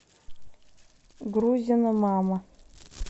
грузина мама